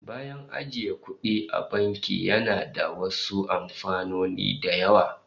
Bayan ajiyan kudi, banki yana da wasu amfanin da yawa